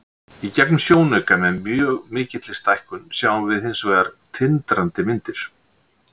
Í gegnum sjónauka, með mjög mikilli stækkun, sjáum við hins vegar tindrandi myndir.